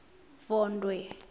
vondwe